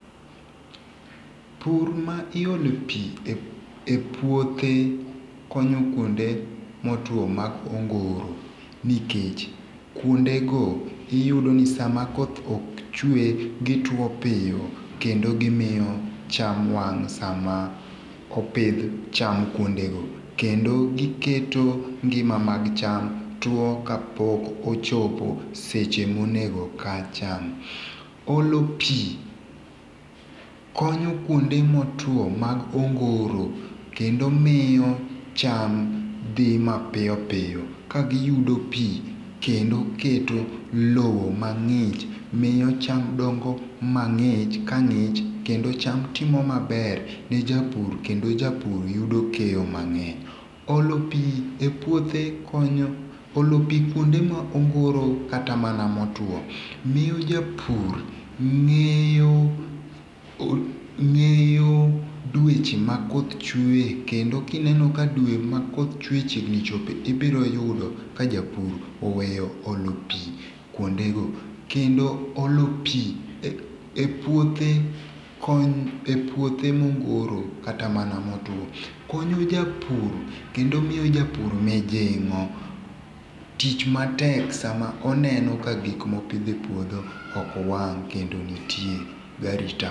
Pur ma iole pi e puothe konyo kwonde motwo ma kongoro nikech kwonde go iyudo ni sama koth ok chwe gi two piyo kendo gimiyo cham wang' sama opidh cham kwonde go kendo giketo ngima mag cham tuo ka pok ochopo seche monego o kaa cham. Olo pi konyo kwonde motwo mag ongoro kendo miyo cham dhi mapiyopiyo ka giyudo pi kendo keto lo mang'ich miyo cham dongo mang'ich ka ng'ich kendo cham timo maber ne japur kendo japur yudo keyo mang'eny. Olo pi e puothe konyo olo pi kuonde ma ongoro kata mana mo tuo miyo japur ng'eyo dweche ma koth chwee kendo kineno dwe ma koth chwe chiegni chopo ibiro yudo ka japur oweyo olo pi kwonde go. Kendo olo pi e puothe konyo e puothe mongoro kata mana motuo konyo japur kendo miyo jabur mijing'o. Tich matek sa ma oneno ka gik mopidho e puodho ok wang' kendo nitie garita.